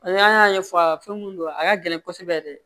N'an y'a ɲɛfɔ a ye fɛn mun don a ka gɛlɛn kosɛbɛ yɛrɛ